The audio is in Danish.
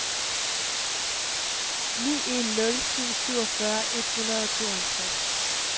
ni en nul syv syvogfyrre et hundrede og tooghalvtreds